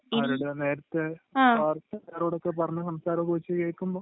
കാരണം അവരുടെ നേരത്തെ വാർത്തക്കാരോടൊക്കെ പറഞ്ഞ സംസാരം ഒക്കെ വച്ച് കേക്കുമ്പോ...